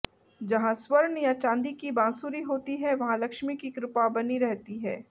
जहां स्वर्ण या चांदी की बांसुरी होती है वहां लक्ष्मी की कृपा बनी रहती है